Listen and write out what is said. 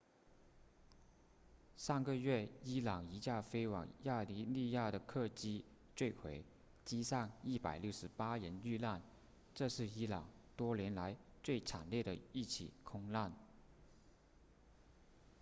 上个月伊朗一架飞往亚美尼亚的客机坠毁机上168人遇难这是伊朗多年来最惨烈的一起空难